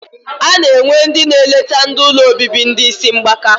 Ana enwe ndi na eleta ndi ụlọ obibi ndi isi mgbaka.